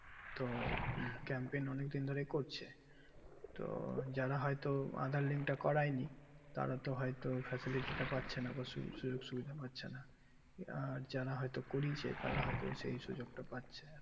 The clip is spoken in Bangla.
তো capm pump অনেক দিন ধরেই কোচে তো যারা হয় তো aadhaar link তা করাই নি তারা তো হয় তো ফ্যাশালিটা পাচ্ছেনা বা সুবিধা পাচ্ছে না আঃ যারা হয় তো করেছে তারা হয় তো সেই সুযোগ তা পাচ্ছে